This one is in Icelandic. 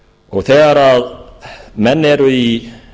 og þegar menn eru í